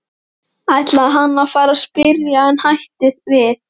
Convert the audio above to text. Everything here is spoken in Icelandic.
Erfiðustu málin sem upp komu voru erfðadeilur og landamerkjadeilur.